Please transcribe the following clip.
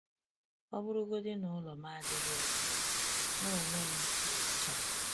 O bụrụgodi na, ụlọ m adịghị ọcha, m onwe m dị ọcha.